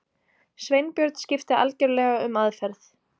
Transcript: Sveinbjörn skipti algjörlega um aðferð.